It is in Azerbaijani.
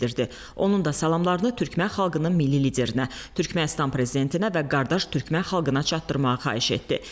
Onun da salamlarını Türkmən xalqının milli liderinə, Türkmənistan prezidentinə və qardaş Türkmən xalqına çatdırmağı xahiş etdi.